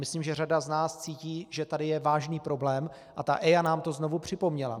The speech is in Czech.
Myslím, že řada z nás cítí, že tady je vážný problém, a ta EIA nám to znovu připomněla.